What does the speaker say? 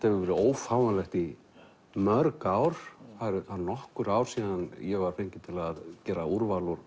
hefur verið ófáanlegt í mörg ár það eru nokkur ár síðan ég var fenginn til að gera úrval úr